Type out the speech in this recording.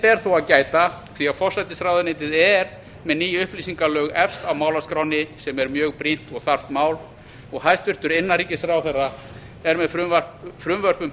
ber þó að gæta því forsætisráðuneytið er með ný upplýsingalög efst á málaskránni sem er mjög brýnt og þarft mál og hæstvirtur innanríkisráðherra er með frumvörp um